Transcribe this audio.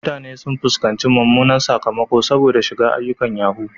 Mutane sun fuskanci mummunan sakamako saboda shiga ayyukan yahoo.